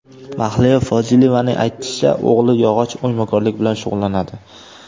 Mahliyo Fozilovaning aytishicha, o‘g‘li yog‘och o‘ymakorligi bilan shug‘ullanadi.